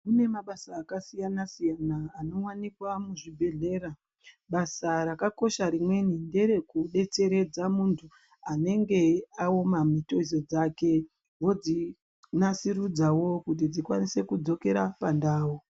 Kune mabasa akasiyana siyana anowanikwa muzvibhedhlera basa rakakosha rimweni nderekudetseredza munthu anenge aoma mitezo dzake vodzinasirudzao kuti dzikwanise kudzokere pandau.